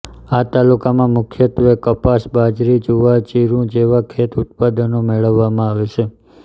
આ તાલુકામાં મુખ્યત્વે કપાસ બાજરી જુવાર જીરૂં જેવાં ખેત ઉત્પાદનો મેળવવામાં આવે છે